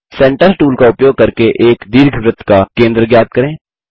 centre tool का उपयोग करके एक दीर्घवृत्त का केंद्र ज्ञात करें